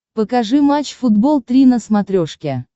покажи матч футбол три на смотрешке